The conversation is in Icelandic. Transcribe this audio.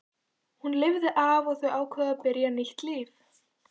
Hún lifir af og þau ákveða að byrja nýtt líf.